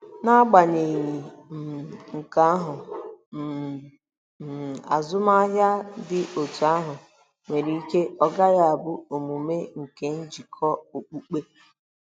N'agbanyeghị um nke ahụ um, um azụmahịa dị otú ahụ nwere ike ọ gaghị abụ omume nke njikọ okpukpe.